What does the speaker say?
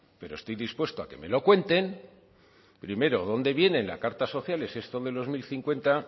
pero estoy dispuesto a que me lo cuenten primero dónde viene en las cartas sociales esto de los mil cincuenta